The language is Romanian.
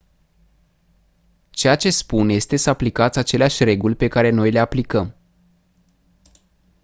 ceea ce spun este să aplicați aceleași reguli pe care noi le aplicăm